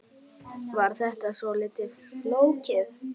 Var þetta svolítið flókið?